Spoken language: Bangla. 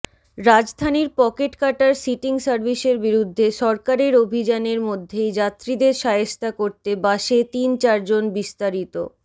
রাজধানীর পকেট কাটার সিটিং সার্ভিসের বিরুদ্ধে সরকারের অভিযানের মধ্যেই যাত্রীদের শায়েস্তা করতে বাসে তিন চারজনবিস্তারিত